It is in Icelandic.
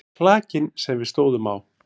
Klakinn sem við stóðum á.